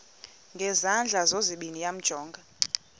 ngezandla zozibini yamjonga